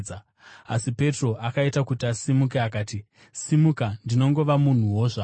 Asi Petro akaita kuti asimuke akati, “Simuka, ndinongova munhuwo zvangu.”